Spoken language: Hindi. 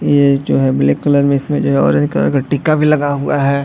ये जो है ब्लैक कलर में इसमें जो है ऑरेंज कलर का टिका भी लगा हुआ है।